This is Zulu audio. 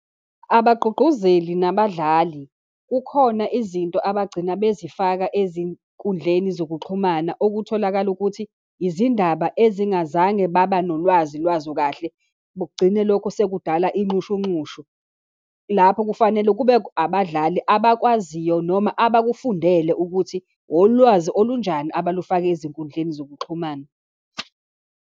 Abagqugquzeli nabadlali kukhona izinto abagcina bezifaka ezinkundleni zokuxhumana okutholakala ukuthi, izindaba ezingazange baba nolwazi lwazo kahle, kugcine lokho sekudala izinxushunxushu. Lapho kufanele kube abadlali abakwaziyo, noma abakufundele ukuthi wolwazi olunjani abalifaka ezinkundleni zokuxhumana.